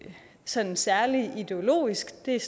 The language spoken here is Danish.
sådan særlig ideologisk det er